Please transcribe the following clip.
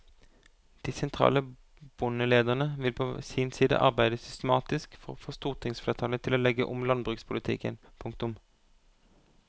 De sentrale bondelederne vil på sin side arbeide systematisk for å få stortingsflertallet til å legge om landbrukspolitikken. punktum